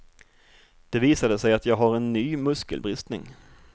Det visade sig att jag har en ny muskelbristning.